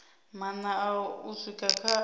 maṋa u swika kha a